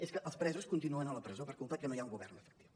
és que els presos continuen a la presó per culpa que no hi ha un govern efectiu